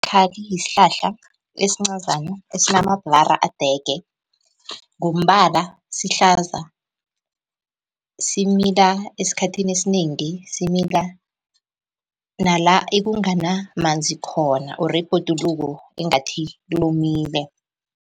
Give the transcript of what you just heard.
yisihlahla ezincazana esinamabhlara adege, ngombala sihlaza. Simila esikhathini esinengi, simila nala ekunganamanzi khona or ebhoduluko engathi lomile.